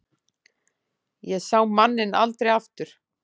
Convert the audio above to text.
Ég sá manninn aldrei aftur.